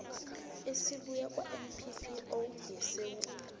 esibuya kwanppo yesewula